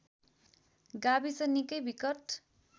गाविस निकै विकट